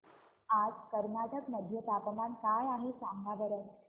आज कर्नाटक मध्ये तापमान काय आहे सांगा बरं